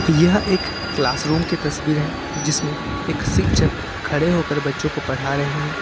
यह एक class room की तस्वीर है जिसमें एक शिक्षक खड़े होकर बच्चों को पढ़ा रहे हैं।